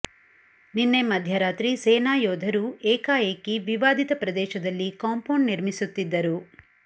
ನಿನ್ನೆ ಮಧ್ಯರಾತ್ರಿ ಸೇನಾ ಯೋಧರು ಏಕಾಏಕಿ ವಿವಾದಿತ ಪ್ರದೇಶದಲ್ಲಿ ಕಾಂಪೌಂಡ್ ನಿರ್ಮಿಸುತ್ತಿದ್ದರು